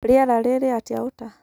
Rĩera rĩrĩ atia Utah